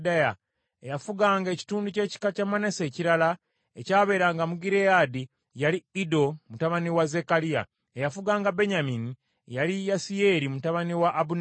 eyafuganga ekitundu ky’ekika kya Manase ekirala ekyabeeranga mu Gireyaadi yali Iddo mutabani wa Zekkaliya; eyafuganga Benyamini yali Yaasiyeri mutabani wa abuneeri;